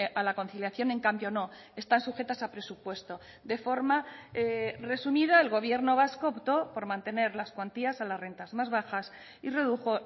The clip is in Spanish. a la conciliación en cambio no están sujetas a presupuesto de forma resumida el gobierno vasco optó por mantener las cuantías a las rentas más bajas y redujo